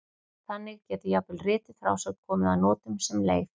Þannig getur jafnvel rituð frásögn komið að notum sem leif.